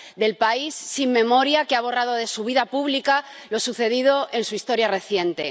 Del país sin memoria que ha borrado de su vida pública lo sucedido en su historia reciente.